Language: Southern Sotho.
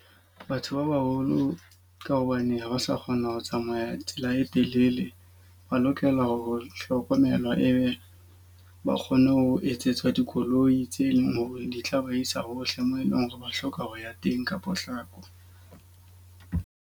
Batho ba baholo, ka hobane ha ba sa kgona ho tsamaya tsela e telele. Ba lokela ho hlokomelwa e be ba kgone ho etsetswa dikoloi tse leng hore di tla ba isa hohle moo e leng hore ba hloka ho ya teng ka potlako.